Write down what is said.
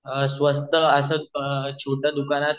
अ स्वस्त अस छोटं दुकानं